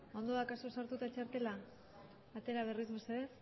ondo daukazu sartuta txartela atera berriz mesedez